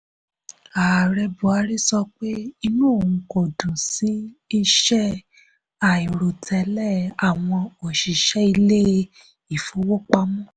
ààrẹ buhari sọ pé inú òun kò dùn sí iṣẹ́ àìròtẹ́lẹ̀ àwọn òṣìṣẹ́ ilé-ìfowópamọ́.